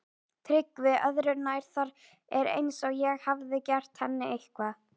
TRYGGVI: Öðru nær, það er eins og ég hafi gert henni eitthvað.